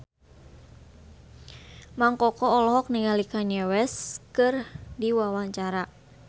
Mang Koko olohok ningali Kanye West keur diwawancara